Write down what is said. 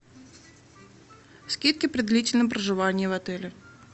скидки при длительном проживании в отеле